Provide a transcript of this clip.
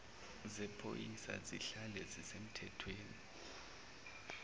zephoyisa zihlale zisemthethweni